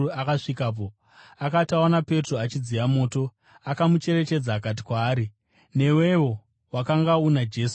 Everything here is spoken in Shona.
Akati aona Petro achidziya moto akamucherechedza. Akati kwaari, “Newewo wakanga una Jesu, weNazareta.”